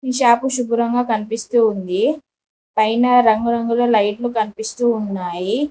Shop శుభ్రంగా కనిపిస్తూ ఉంది పైన రంగురంగుల లైట్లు కనిపిస్తూ ఉన్నాయి.